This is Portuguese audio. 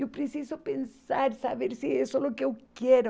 Eu preciso pensar, saber se isso é o que eu quero.